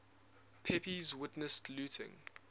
pepys witnessed looting